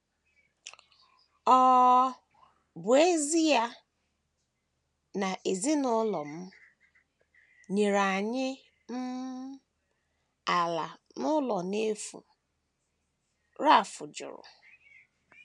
Ọ um bụ ezie na ezinụlọ m nyere anyị um ala na ụlọ n’efu um, Ralph jụrụ.